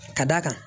Ka d'a kan